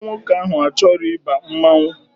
Nwa nwoke ahụ achọrọ ịba mmanwụ